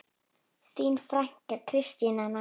Þín frænka, Kristín Anna.